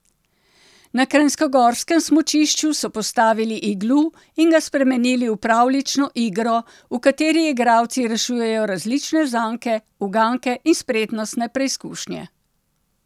Na kranjskogorskem smučišču so postavili iglu in ga spremenili v pravljično igro, v kateri igralci rešujejo različne zanke, uganke in spretnostne preizkušnje.